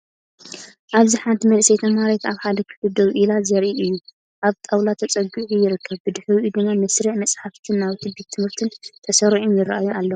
ኣብዚ ሓንቲ መንእሰይ ተማሃሪት ኣብ ሓደ ክፍሊ ደው ኢላ ዘርኢ እዩ። ኣብ ጣውላ ተጸጊዑ ይርከብ። ብድሕሪኡ ድማ መስርዕ መጻሕፍትን ናውቲ ቤት ትምህርትን ተሰሪዖም ይራኣዩ ኣለዉ።